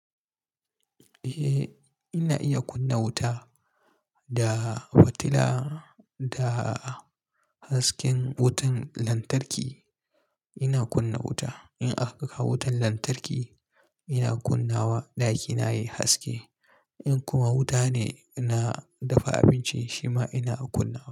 Eh, ina iya kunna wuta da fitila da hasken wutan lantarki ina kunna wuta. In aka kawo wutan lantarki ina kunna wa ɗakina yayi haske. In kuma wuta ne na dafa abinci shima ina kunna wa.